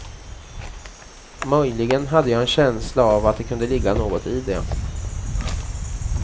Möjligen hade jag en känsla av att det kunde ligga något i det.